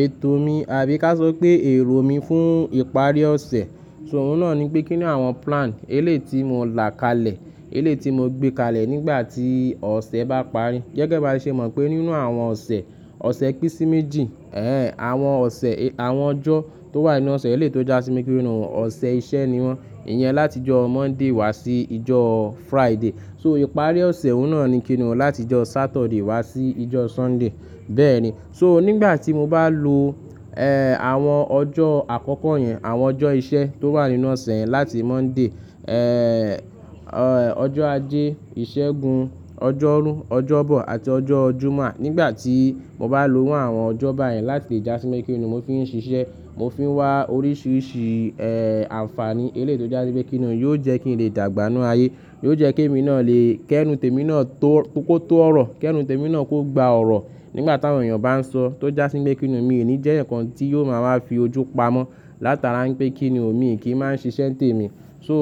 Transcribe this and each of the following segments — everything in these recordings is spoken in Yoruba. Ètò mi àbí ká sọ pé èrò mi fún ìparí ọ̀sẹ̀, sọ̀rún náà ni pé kínní àwọn plan eléeti mo là kalẹ̀, eléeti mo gbé kalẹ̀ nígbà tí ọ̀sẹ̀ bá parí. Gẹ́gẹ́ bá ṣe mọ̀ pé nínú àwọn ọ̀sẹ̀, ọ̀sẹ̀ písíméjì, ẹẹ́, àwọn ọ̀sẹ̀, àwọn ọjọ́ tó wà nínú ọ̀sẹ̀ eléétò já sí mí pinu ọ̀sẹ̀ iṣẹ́ ni wọ́n. Ìyẹn láti ọjọ́ Monday wá sí ìjọ Friday. So ìparí ọ̀sẹ̀ òun náà ni kíni láti ọjọ́ Saturday wá sí ìjọ Sunday. Bẹ́ẹ̀ni, so nígbà tí mo bá lo, ẹẹ́, àwọn ọjọ́ àkọ́kọ́ yẹn, àwọn ọjọ́ iṣẹ́ tó wà nínú ọ̀sẹ̀ yẹn láti Monday, ẹẹ́, ọjọ́ Ajé, Ìṣẹ́gun, ọjọ́rú, ọjọ́bọ àti ọjọ́ Jummà. Nígbà tí mo bá lo àwọn ọjọ́ báyẹn láti lè já sí mí kíni mo fi ń ṣiṣẹ́, mo fi ń wá oríṣiríṣi, ẹẹ́, àǹfàní eléétò já síbí kíni yóò jẹ́ kí n lè dàgbà nínú ayé. Yóò jẹ́ kí èmi náà lè kẹ́nu tèmi náà tó kó tó ọ̀rọ̀, kẹ́nu tèmi náà kó gba ọ̀rọ̀ nígbà tí àwọn èèyàn bá ń sọ. Tó já síbí kíni mi ò ní jẹ́ ǹkan tí yóò máa wá fi ojú pamọ́. Látara pé kínní òmi kì í máa ń ṣiṣẹ́ tèmi. So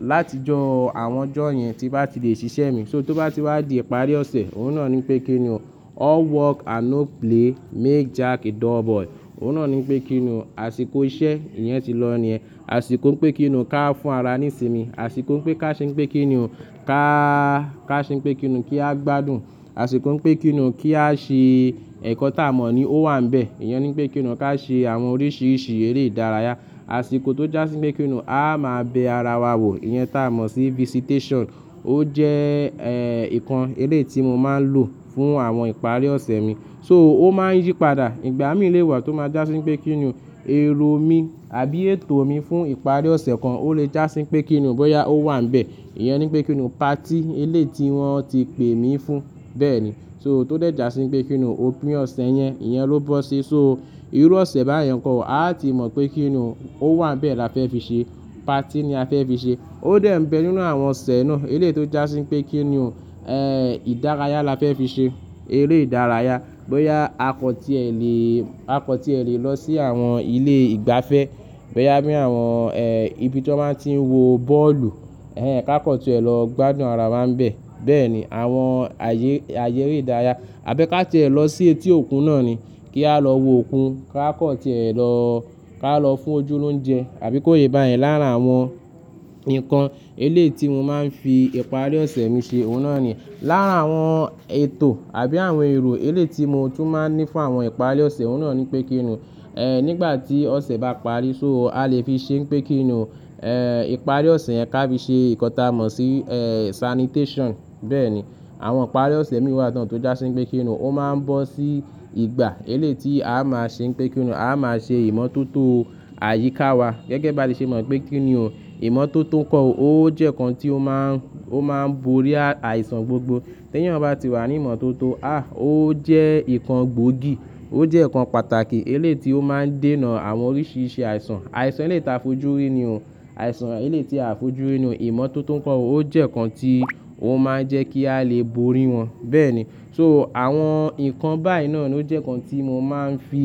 láti jọ àwọn ọjọ́ yẹn tí bá ti lè ṣiṣẹ́ mi. So tó bá ti wá di ìparí ọ̀sẹ̀, òun náà ni pé kínní o, all work and no play make Jack a dull boy. Òun náà ni pé kínní o, àsìkò iṣẹ́, ìyẹn ti lọ níẹ̀. Àsìkò ń pé kíni ká fún ara ní ìsinmi. Àsìkò ń pé ká ṣe ń pé kíni o, ká, ká ṣe ń pé kíni kí a gbádùn. Àsìkò ń pé kíni kí a ṣe ẹ̀kọ́ tá mò ní ó wà níbẹ̀. Ìyẹn ni pé kíni ká ṣe àwọn oríṣiríṣi eré ìdárayá. Àsìkò tó já síbí pé kíni a máa bẹ ara wa wò. Ìyẹn tá mò sí visitation. Ó jẹ́, ẹẹ́, nǹkan elééti mo máa ń lò fún àwọn ìparí ọ̀sẹ̀ mi. So ó máa ń yípadà. Ìgbà mí lè wà tó má já síbí pé kíni èrò mi àbí ètò mi fún ìparí ọ̀sẹ̀ kan ó lè já síbí pé kíni bóyá ó wà níbẹ̀. Ìyẹn ni pé kíni party elééti wọ́n ti pè mí fún. Bẹ́ẹ̀ni, so tó dẹ̀ já sí pé kíni òpin ọ̀sẹ̀ yẹn, ìyẹn ló bọ́ sí. So irú ọ̀sẹ̀ báyẹn kọ́, a ti mọ̀ pé kíni ó wà níbẹ̀ la fẹ́ fi ṣe. Party ni a fẹ́ fi ṣe. Ó dẹ̀ ń bẹ nínú àwọn ọ̀sẹ̀ náà eléétò já síbí pé kíni o, ẹẹ́, ìdárayá la fẹ́ fi ṣe. Eré ìdárayá, bóyá akọ̀tíẹlẹ̀, akọ̀tíẹlẹ̀ lọ sí àwọn ilé ìgbafẹ́, bóyá bí àwọn, ẹẹ́, ibi tí wọ́n máa ń tí ń wo bọ́ọ̀lù, ẹẹ́, ká kọ̀tí ẹ lọ gbádùn ara wa níbẹ̀. Bẹ́ẹ̀ni, àwọn ayé, ayé eré ìdárayá. Àbí ká tí ẹ lọ sí etí òkun náà ni. Kí a lọ wo òkun. Ká kọ̀tí ẹ lọ, ká lọ fún ojú lóunjẹ́. Àbí kó yé bá yẹn l'ára àwọn nǹkan elééti mo máa ń fi ìparí ọ̀sẹ̀ mi ṣe. Òun náà ni. L'ára àwọn ètò àbí àwọn èrò elééti mo tún máa ń ní fún àwọn ìparí ọ̀sẹ̀, òun náà ni pé kínní o, ẹẹ́, nígbà tí ọ̀sẹ̀ bá parí, so a lè fi ṣe pé kíni o, ẹẹ́, ìparí ọ̀sẹ̀ yẹn ká fi ṣe ìkọ́ta mò sí, ẹẹ́, sanitation. Bẹ́ẹ̀ni, àwọn ìparí ọ̀sẹ̀ mi wà tán tó já sí pé kíni ó máa ń bọ́ sí ìgbà elééti a máa ṣe pé kíni o, a máa ṣe ìmọ́tótó àyíká wa. Gẹ́gẹ́ bá ṣe mọ̀ pé kíni o, ìmọ́tótó kọ́ ó jẹ́ nǹkan tí ó máa ń, ó máa ń borí àìsàn gbogbo. Tí èèyàn bá ti wà ní ìmọ́tótó, aah! Ó jẹ́ nǹkan gbòógì. Ó jẹ́ nǹkan pàtàkì elééti ó máa ń dènà àwọn oríṣiríṣi àìsàn. Àìsàn elééti a fojú rí ni o. Àìsàn elééti a fojú rí ni o. Ìmọ́tótó kọ́ ó jẹ́ nǹkan tí ó máa ń jẹ́ kí a lè borí wọn. Bẹ́ẹ̀ni, so àwọn nǹkan báyìí náà ló jẹ́ nǹkan tí mo máa ń fi,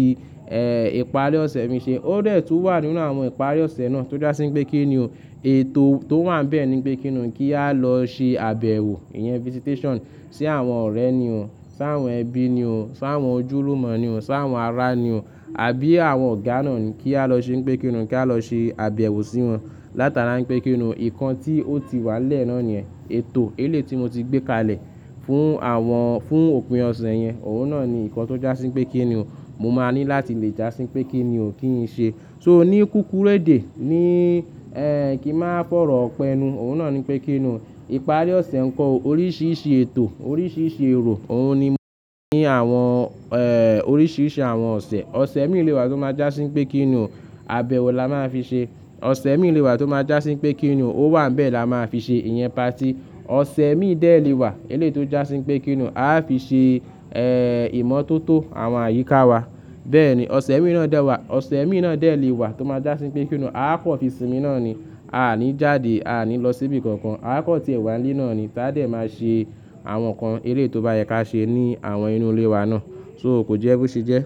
ẹẹ́, ìparí ọ̀sẹ̀ mi ṣe. Ó dẹ̀ tú wà nínú àwọn ìparí ọ̀sẹ̀ náà tó já síbí pé kíni o, ètò tó wà níbẹ̀ ni pé kíni kí a lọ ṣe àbẹ̀wò, ìyẹn visitation sí àwọn ọ̀rẹ́ ni o, sí àwọn ẹbí ni o, sí àwọn ojúlùmọ̀ ni o, sí àwọn ará ni o, àbí àwọn ọ̀gá náà ni kí a lọ ṣe pé kíni o kí á lọ ṣe àbẹ̀wò sí wọn. Látara pé kíni o, nǹkan tí ó ti wà nílé ná nìyẹn. Ètò elééti mo ti gbé kalẹ̀ fún àwọn, fún òpin ọ̀sẹ̀ yẹn. Òun náà ni nǹkan tó já sí pé kíni o, mo máa ní láti lè já sí pé kíni o kí n ṣe. So ní kúkúrú èdè ní, ẹ ẹẹ́, kí n máa fọ̀rọ̀ ọpẹ́ ni o. Òun náà ni pé kíni o, ìparí ọ̀sẹ̀ nǹkan o, oríṣiríṣi ètò, oríṣiríṣi èrò. Òun ni mo ní àwọn, ẹẹ́, oríṣiríṣi àwọn ọ̀sẹ̀. Ọ̀sẹ̀ mí lè wà tó máa já sí pé kíni àbẹ̀wò la máa fi ṣe. Ọ̀sẹ̀ mí lè wà tó máa já síbí pé kíni ó wà níbẹ̀ la máa fi ṣe. Ìyẹn party. Ọ̀sẹ̀ mí dẹ̀ lè wà eléétò já síbí pé kíni a fi ṣe, ẹẹ́, ìmọ́tótó àwọn àyíká wa. Bẹ́ẹ̀ni, ọ̀sẹ̀ mí náà dẹ̀ wà. Ọ̀sẹ̀ mí náà dẹ̀ lè wà tó máa já síbí pé kíni a kọ̀ fi sínmí náà ni. A à ní jáde. A à ní lọ síbi kankan. A kọ̀tí ẹ wà nílé náà ni. Táà dẹ̀ máa ṣe àwọn nǹkan elééti ó bá yẹ ká ṣe ní àwọn inú ilé wa náà. So kò jẹ́ bó ṣe jẹ́.